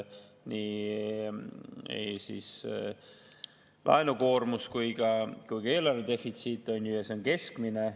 Nii laenukoormus kui ka eelarvedefitsiit on keskmised.